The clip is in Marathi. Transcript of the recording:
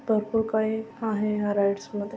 भरपूर काही आहे या राइड्समध्ये.